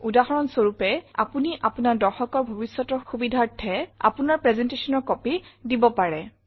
উদাহৰণ স্বৰূপে আপুনি আপোনাৰ দৰ্শকৰ ভৱিষ্যতৰ সুবিধাৰ্থে আপোনাৰ presentationৰ কপি দিব পাৰে